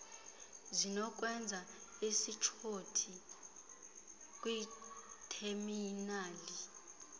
zinokwenza ishothi kwitheminali